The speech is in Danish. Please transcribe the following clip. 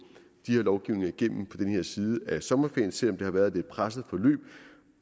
de her lovgivninger igennem på den her side af sommerferien selv om det har været et lidt presset forløb